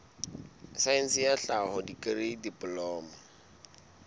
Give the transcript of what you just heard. saense ya tlhaho dikri diploma